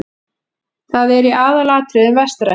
Það er í aðalatriðum vestrænt.